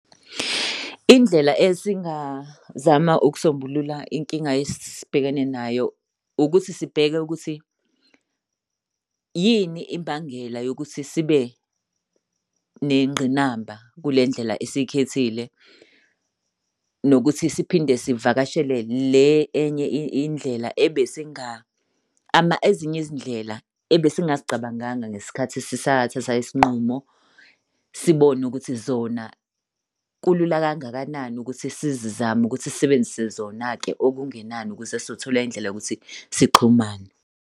Indlela esingazama ukusombulula inkinga esibhekene nayo ukuthi sibheke ukuthi yini imbangela yokuthi sibe nengqinamba kule ndlela esikhethile, nokuthi siphinde sivakashele le enye indlela ezinye izindlela ebesingazicabanganga ngesikhathi sisathatha isinqumo. Sibone ukuthi zona kulula kangakanani ukuthi sizizame ukuthi sisebenzise zona-ke okungenani ukuze sizothola indlela yokuthi sixhumane.